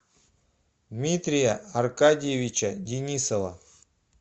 дмитрия аркадьевича денисова